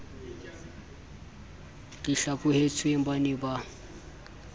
di hlaphohetsweng ba ne ba